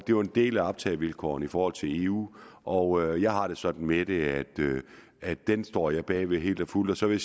jo en del af optagevilkårene i forhold til eu og jeg har det sådan med det at den står jeg bag helt og fuldt og så vil